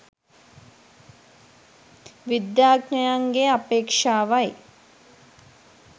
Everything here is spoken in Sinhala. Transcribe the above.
විද්‍යාඥයන්ගේ අපේක්‍ෂාවයි.